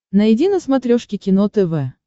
найди на смотрешке кино тв